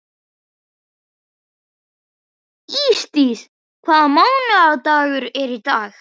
Ísdís, hvaða mánaðardagur er í dag?